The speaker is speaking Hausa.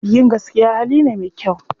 Yin gaskiya hali ne me kyau.